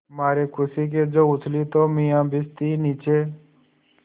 मारे खुशी के जो उछली तो मियाँ भिश्ती नीचे